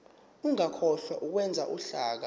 ungakhohlwa ukwenza uhlaka